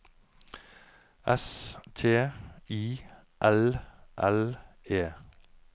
S T I L L E